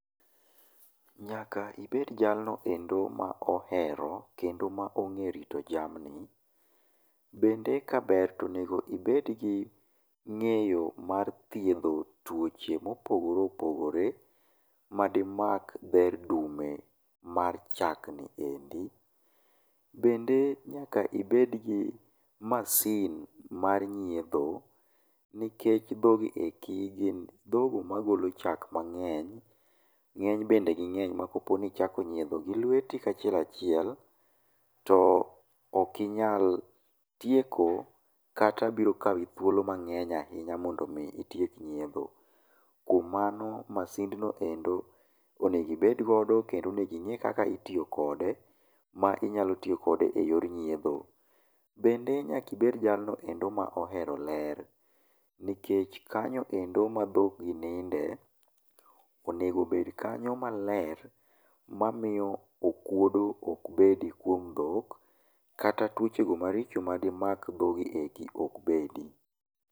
Nyaka ibed jalnoeri ma ohero kendo ong'e rito jamni. Bende kaber to onego ibed gi ng'eyo mar dhiedho tuoche mopogore pogore madimak dher dume mar chak. Bende nyaka ibed gi mashin mar nyiedho nikech dhoogi eki gin dhok magolo chák mang'eny, ng'eny bende ging'eny makichako nyiedho. Kichako nyiedho gi lweti ka chiel achiel to ok inyal tieko kata biro kawi thuolo mang'eny ahinya mondo mi itiek nyiedho. Kuom man masind no endo onego ibed godo kendo onego ing'e kaka itiyo kode ma inyalo tiyo kode ma inyalo tiyo kode eyor nyiedho. Bende nyaka ibed jalno no endo ma ohero ler. Nikech kanyo endo ma dhog ni ninde, onegobed kanyo maler mamiyo okuodo ok bedo kuom dhok , kata tuoche marich madimak dhgo eko ok bedi.